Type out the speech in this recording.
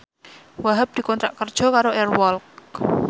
Wahhab dikontrak kerja karo Air Walk